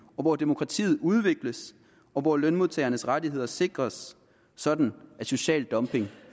hvor demokratiet udvikles og hvor lønmodtagernes rettigheder sikres sådan at social dumping